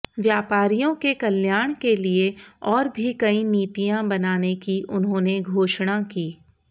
व्यापारियों के कल्याण के लिए और भी कई नीतियां बनाने की उन्होंने घोषणा की